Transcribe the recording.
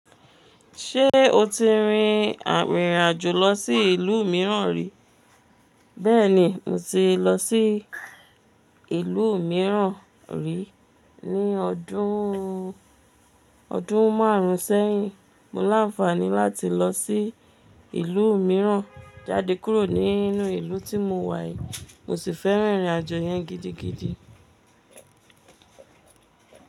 Ṣé o ti rin ìrìn àjò lọ sí ìlú mìíràn rí? Bẹ́ẹ̀ni, mo ti lọ sí ìlú mìíràn rí ní ọdún, ọdún márùn-ún sẹ́yìn. Mo lanfaani lati lo si ilu miiran jade kuro ni inu ilu ti mo wa yii, mo si feran irin ajo yen gidigidi.